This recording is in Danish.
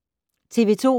TV 2